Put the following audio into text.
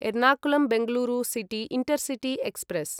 Ernakulam Bengaluru city intercity express